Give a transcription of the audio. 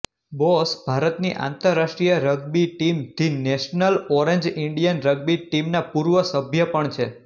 boss ભારતની આંતરરાષ્ટ્રીય rugby team the national orange Indian rugby ટીમના પૂર્વ સભ્ય પણ છે